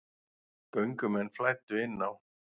Göngumenn flæddu inn á